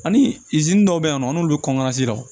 Ani dɔw bɛ yen nɔ an n'olu